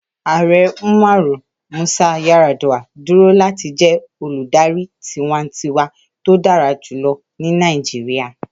Ààrẹ Umaru Musa Yar'Adua duro lati jẹ oludari tiwantiwa to dara julọ ni Nàìjíríà.